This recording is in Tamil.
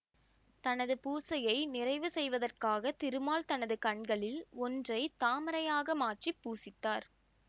தனது பூசையை நிறைவு செய்வதற்காக திருமால் தனது கண்களில் ஒன்றை தாமரையாக மாற்றி பூசித்தார்